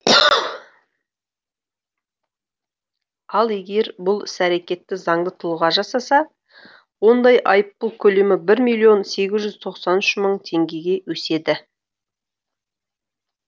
ал егер бұл іс әрекетті заңды тұлға жасаса ондай айыппұл көлемі бір миллион сегіз жүз тоқсан үш мың теңгеге өседі